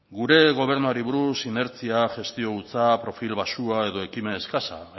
gure gobernuari buruz inertzia gestio hutsa profil baxua edo ekimen exkaxa